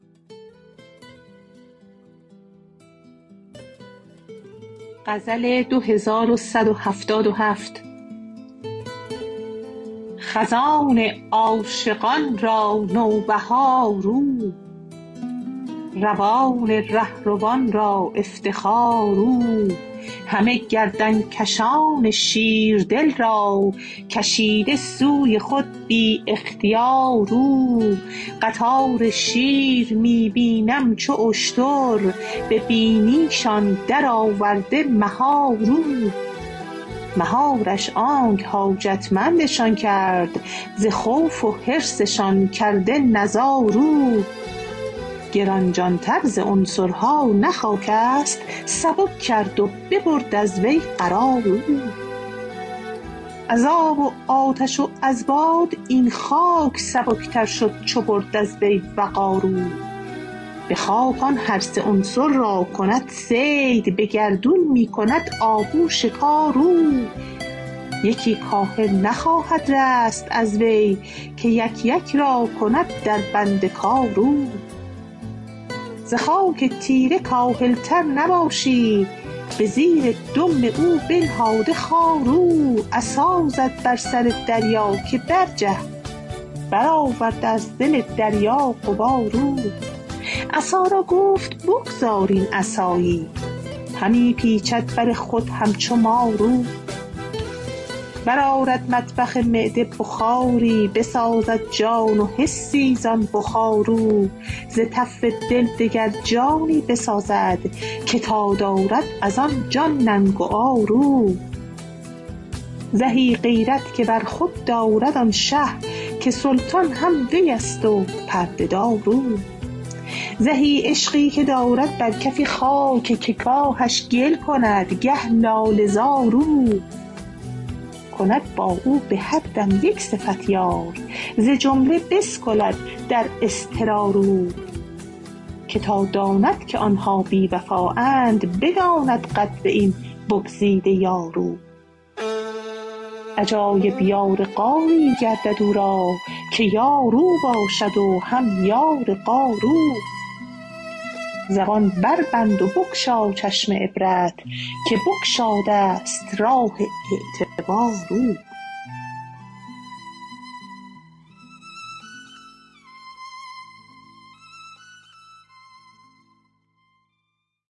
خزان عاشقان را نوبهار او روان ره روان را افتخار او همه گردن کشان شیردل را کشیده سوی خود بی اختیار او قطار شیر می بینم چو اشتر به بینیشان درآورده مهار او مهارش آنک حاجتمندشان کرد ز خوف و حرصشان کرده نزار او گران جانتر ز عنصرها نه خاک است سبک کرد و ببرد از وی قرار او از آب و آتش و از باد این خاک سبکتر شد چو برد از وی وقار او به خاک آن هر سه عنصر را کند صید به گردون می کند آهو شکار او یکی کاهل نخواهد رست از وی که یک یک را کند دربند کار او ز خاک تیره کاهلتر نباشی به زیر دم او بنهاد خار او عصا زد بر سر دریا که برجه برآورد از دل دریا غبار او عصا را گفت بگذار این عصایی همی پیچد بر خود همچو مار او برآرد مطبخ معده بخاری بسازد جان و حسی زان بخار او ز تف دل دگر جانی بسازد که تا دارد از آن جان ننگ و عار او زهی غیرت که بر خود دارد آن شه که سلطان هم وی است و پرده دار او زهی عشقی که دارد بر کفی خاک که گاهش گل کند گه لاله زار او کند با او به هر دم یک صفت یار ز جمله بسکلد در اضطرار او که تا داند که آن ها بی وفااند بداند قدر این بگزیده یار او عجایب یار غاری گردد او را که یار او باشد و هم یار غار او زبان بربند و بگشا چشم عبرت که بگشاده ست راه اعتبار او